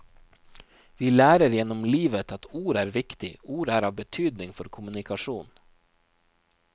Vi lærer gjennom livet at ord er viktig, ord er av betydning for kommunikasjon.